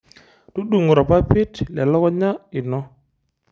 Tudung'o irpapit lelukunya ino.